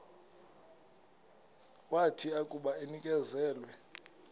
wathi akuba enikezelwe